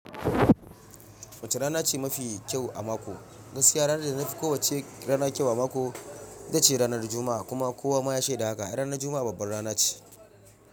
Wace rana ce mafi kyau a mako? Gaskiya ranar da na fi kowacce rana kyau a mako ita ce ranar Juma'a. Kuma kowa ma yashe da haka. Ranar Juma'a babbar rana ce.